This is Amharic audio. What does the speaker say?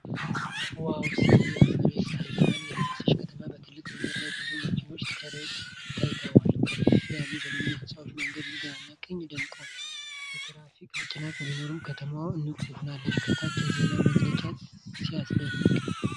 ዋው ሲያምር! የፀሐይ ብርሃን የለበሰች ከተማ በትልቅ መንገድ ላይ ብዙ መኪናዎች ተርብ ታይተዋል። ከፍ ያሉ ዘመናዊ ህንፃዎች በመንገዱ ግራና ቀኝ ደምቀዋል። የትራፊክ መጨናነቅ ቢኖርም ከተማዋ ንቁ ሆናለች። ከታች የዜና መግለጫው! ሲያስደንቅ!